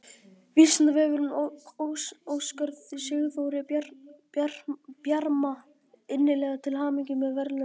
Vísindavefurinn óskar Sigþóri Bjarma innilega til hamingju með verðlaunin!